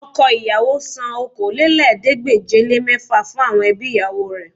Ọkọ ìyàwó san Okòólélẹ́ẹ̀ẹ́dégbèje-le-mẹ́fà fún àwọn ẹbí ìyàwó rẹ̀